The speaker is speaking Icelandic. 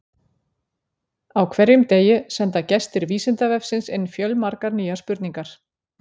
Á hverjum degi senda gestir Vísindavefsins inn fjölmargar nýjar spurningar.